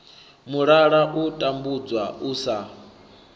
mulala u tambudzwa u sa